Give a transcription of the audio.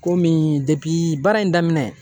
Komi baara in daminɛ.